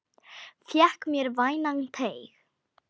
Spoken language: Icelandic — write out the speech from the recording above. Fékk mér vænan teyg.